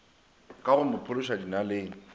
ka go mo phološa dinaleng